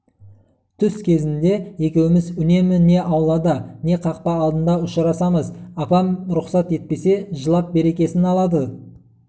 түс кезінде екеуіміз үнемі не аулада не қақпа алдында ұшырасамыз апам рұқсат етпесе жылап берекесін алады